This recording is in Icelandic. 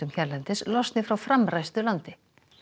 hérlendis losni frá framræstu landi